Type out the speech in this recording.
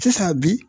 Sisan bi